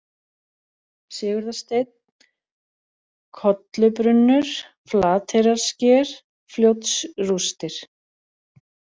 Sigurðarsteinn, Kollubrunnur, Flateyrarsker, Fljótsrústir